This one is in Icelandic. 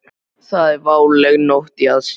Það er váleg nótt í aðsigi.